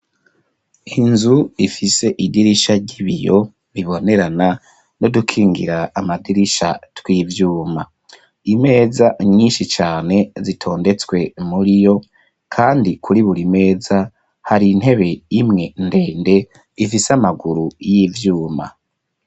inzu ifise idirisha ry'ibiyo bibonerana n"udukingira amadirisha tw'ivyuma . Imeza nyinshi cane zitondetswe muri yo . kandi kuri buri meza hari intebe imwe ndende ifise amaguru y'ivyuma.